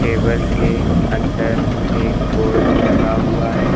Table के अंदर एक बोर्ड लगा हुआ है।